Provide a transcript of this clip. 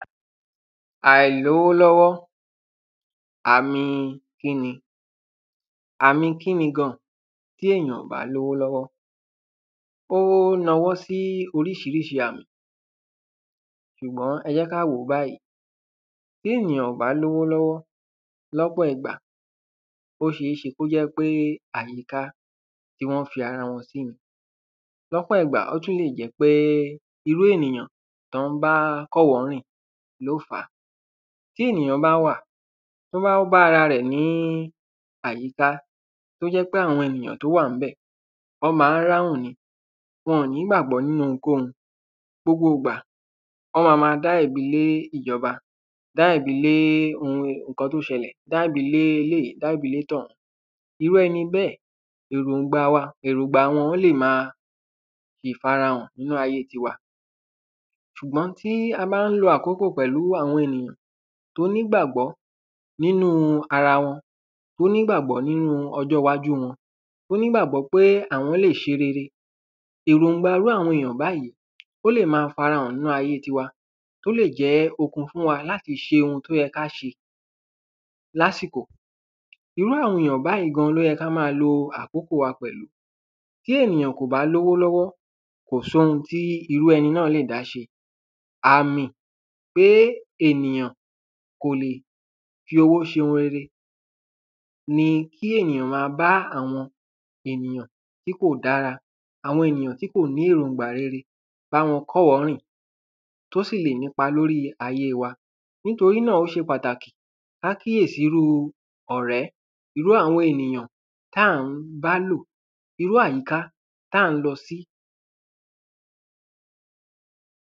àìlówó lọ́wọ́ àmi kí ni àmi kí ni gan-an bí èyàn ò bá lówó lọ́wọ́ ó nawọ́ si oríṣiríṣi àmì ṣùgbọ́n ẹ jẹ́ ká wò báyí ténìyàn ò bá lówó lọ́wọ́ lọ́pọ̀ ìgbà ó ṣeeṣe ko jẹ pé àyíká tì wọ́n fi ara wọn sí ḷọ́pọ̀ ìgbà ó tú lẹ̀ jẹ́ pé irú ènìyàn tọ́ ń bá kọ́wọ̀rìn ló fá tenìyàn bá wà tó bá bára rẹ̀ ní àyíká tó jẹ́ wípé àwọn ènìyàn tó wà níbẹ̀ ọ ma ń ráhùn ni wọn ò ní ìgbàgbọ́ nínu ohunkóhun gbogbo gbà ọ ma ma dá ẹ̀bi lé ìjọba dá ẹ̀bi lé ǹkan tó ṣẹlẹ̀ dá ẹ̀bi lé eléyi dá ẹ̀bi lé tọ̀hún irú ẹni bẹ́ẹ̀ èròngbà wa èròngbà wọn ó lè ma fìfara hàn nínú ayé ti wa ṣùgbọ́n bí a bá ń lo àkókò pẹ̀lú àwọn ènìyàn tó ní gbàgbọ́ nínú ara wọn tó ní gbàgbọ́ nínú ọjọ́wájú wọn tó ní gbàgbọ́ pé àwọn lè ṣe rere èròngbà irú àwọn ènìyàn báyí ó lè ma farahàn nínú ayé tiwa ó lè jẹ́ okun fún wa láti ṣe ohun tó yẹ ká ṣe lásìkò irú àwọn èyàn báyí gan ló yẹ ká ma lo àkókò pẹ̀lú bí ènìyàn kò bá lówó lọ́wọ́ kò sóhun tí irú ẹni náà lè dá ṣe àmì pé ènìyàn kò lè fi owó ṣehun rere ní kí ènìyàn ma bá àwọn ènìyàn tí kò dára àwọn ènìyàn tí kò ní èròngbà rere báwọn kọ́wọ̀rìn tó sì lè nípa lórí ayé wa nítorí náà ó ṣe pàtàkì ákíèsí irú ọ̀rẹ́ irú àwọn ènìyàn tá à ń bá lò irú àyíká tá ń lọ sí